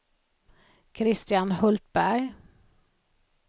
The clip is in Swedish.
Kristian Hultberg